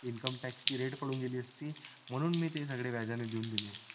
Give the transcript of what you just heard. income tax चे red पढून गेली असती म्हणूं मी ते सगळे व्याजाने देऊन दिले